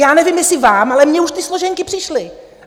Já nevím, jestli vám, ale mně už ty složenky přišly.